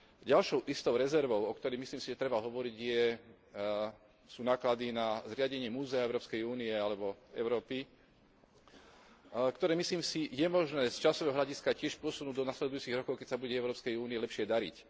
Ďalšou istou rezervou, o ktorej, myslím si, treba hovoriť, sú náklady na zriadenie múzea Európskej únie alebo Európy, ktoré je podľa mňa možné z časového hľadiska tiež posunúť do nasledujúcich rokov, keď sa bude Európskej únii lepšie dariť.